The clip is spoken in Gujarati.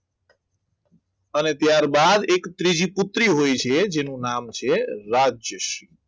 અને ત્યારબાદ એક ત્રીજી પુત્રી હોય છે જેનું નામ છે રાજ્યશ્રી